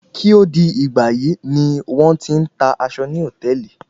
Kí ó tó di ìgbàyí ni wọ́n ti ń ta aṣọ ní hòtẹ́ẹ̀lì.